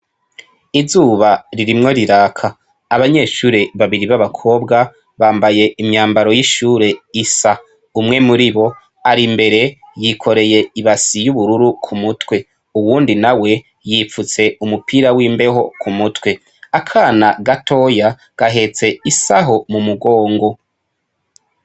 Izuba ririmwo riraka. Abanyeshure babiri b'abakobwa bambaye imyambaro y'ishure isa umwe muri bo ari mbere yikoreye ibasi y'ubururu ku mutwe, uwundi na we yipfutse umupira w'imbeho ku mutwe akana gatoya gahetse isaho mu mugongo.